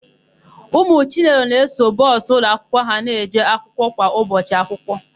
Ụmụ Chinedu na-eso bọsụ ụlọakwụkwọ ha eje akwụkwọ kwa ụbọchị akwụkwọ.